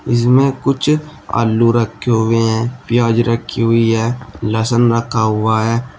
इसमें कुछ आलू रखे हुए हैं प्याज रखी हुई है लहसन रखा हुआ है।